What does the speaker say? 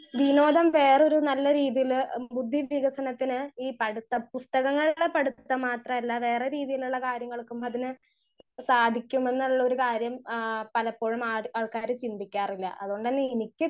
speaker 1 വിനോദം വേറെയൊരു നല്ല രീതിയിൽ ബുദ്ധി വികസനത്തിന് ഈ പടുത്ത പുസ്തകങ്ങൾടെ പടുത്തം മാത്രല്ല വേറെ രീതിയിലുള്ള കാര്യങ്ങൾക്കും അതിന് സാധിക്കുമെന്നുള്ളൊരു കാര്യം ആ പലപ്പോഴും മാ ആൾക്കാർ ചിന്തിക്കാറില്ല അതോണ്ട്ന്നെ എനിക്ക്